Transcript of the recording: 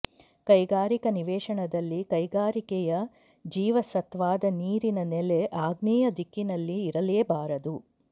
ಕೈಗಾರಿಕ ನಿವೇಶನದಲ್ಲಿ ಕೈಗಾರಿಕೆಯ ಜೀವಸತ್ವಾದ ನೀರಿನ ನೆಲೆ ಆಗ್ನೇಯ ದಿಕ್ಕಿನಲ್ಲಿ ಇರಲೇಬಾರದು